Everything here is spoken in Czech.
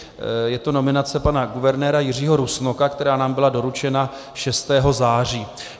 Je to nominace pana guvernéra Jiřího Rusnoka, která nám byla doručena 6. září.